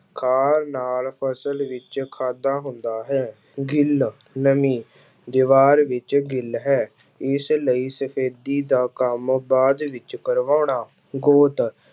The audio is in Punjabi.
ਖਾਰ ਨਾਲ ਫਸਲ ਵਿੱਚ ਖਾਦਾ ਹੁੰਦਾ ਹੈ, ਗਿੱਲ ਨਮੀ ਦੀਵਾਰ ਵਿੱਚ ਗਿੱਲ ਹੈ ਇਸ ਲਈ ਸਫ਼ੇਦੀ ਦਾ ਕੰਮ ਬਾਅਦ ਵਿੱਚ ਕਰਵਾਉਣਾ, ਗੋਤ